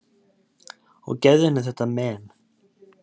Og gefðu henni þetta men.